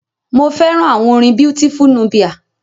Mo fẹ́ràn àwọn orin Beautiful Nubia.